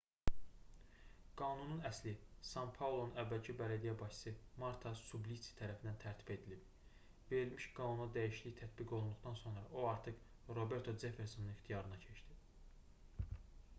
qanunun əsli san-paulonun əvvəlki bələdiyyə başçısı marta suplici tərəfindən tərtib edilib verilmiş qanuna dəyişiklik tətbiq olunduqdan sonra o artıq roberto ceffersonun ixtiyarına keçdi